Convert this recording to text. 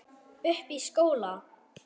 Uppi í skóla?